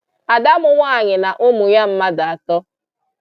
Ada m nwaanyị na ụmụ ya mmadụ atọ.